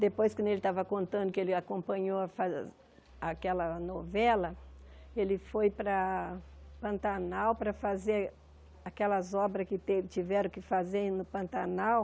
Depois, quando ele estava contando que ele acompanhou a aquela novela, ele foi para Pantanal para fazer aquelas obras que teve tiveram que fazer no Pantanal.